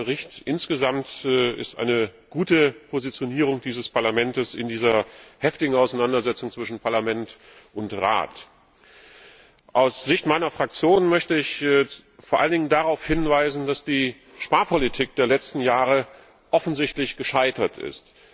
Ich denke, der Bericht ist insgesamt eine gute Positionierung dieses Parlaments in dieser heftigen Auseinandersetzung zwischen Parlament und Rat. Aus Sicht meiner Fraktion möchte ich vor allen Dingen darauf hinweisen, dass die Sparpolitik der letzten Jahre offensichtlich gescheitert ist.